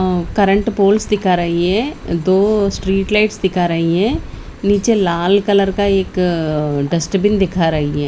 ओअ current poles दिखा रही है दो स्ट्रीट लाइट्स दिखा रही है नीचे लाल कलर का एक डस्टबिन दिखा रही है।